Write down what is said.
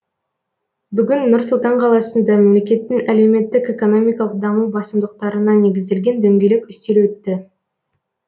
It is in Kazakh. бүгін нұр сұлтан қаласында мемлекеттің әлеуметтік экономикалық даму басымдықтарына негізделген дөңгелек үстел өтті